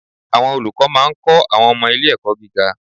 Àwọn olùkọ́ máa ń kọ́ àwọn ọmọ ilé ẹ̀kọ́ gíga